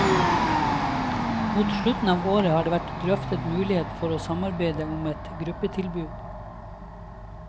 Mot slutten av året har det vært drøftet mulighet for å samarbeide om et gruppetilbud.